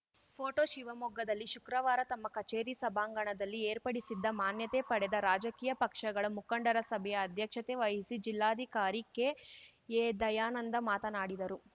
photo ಶಿವಮೊಗ್ಗದಲ್ಲಿ ಶುಕ್ರವಾರ ತಮ್ಮ ಕಚೇರಿ ಸಭಾಂಗಣದಲ್ಲಿ ಏರ್ಪಡಿಸಿದ್ದ ಮಾನ್ಯತೆ ಪಡೆದ ರಾಜಕೀಯ ಪಕ್ಷಗಳ ಮುಖಂಡರ ಸಭೆಯ ಅಧ್ಯಕ್ಷತೆ ವಹಿಸಿ ಜಿಲ್ಲಾಧಿಕಾರಿ ಕೆಎದಯಾನಂದ ಮಾತನಾಡಿದರು